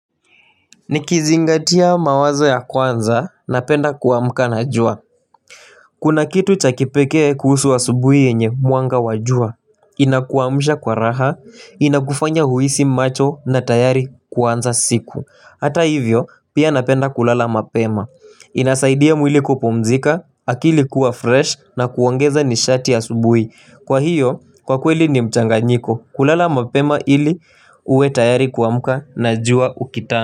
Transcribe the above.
Nikizingatia mawazo ya kwanza napenda kuamka na jua Kuna kitu cha kipekee kuhusu asubuhi yenye mwanga wa jua Inakuamsha kwa raha, inakufanya uhisi macho na tayari kuanza siku. Hata hivyo pia napenda kulala mapema inasaidia mwili kupumzika, akili kuwa fresh na kuongeza nishati asubuhi Kwa hiyo kwa kweli ni mchanganyiko kulala mapema ili uwe tayari kuamka na jua ukita.